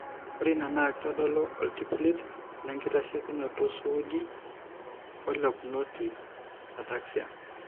Ore ina naa keitodolu oltipilit lenkitasheikinoto suuji oelekunoti (ataxia).